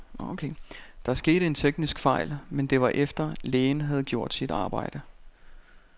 Der skete en teknisk fejl, men det var efter, lægen havde gjort sit arbejde.